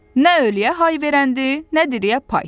Nə öliyə hay verəndir, nə diriyə pay.